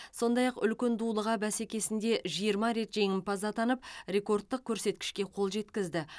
сондай ақ үлкен дулыға бәсекесінде жиырма рет жеңімпаз атанып рекордтық көрсеткішке қол жеткізді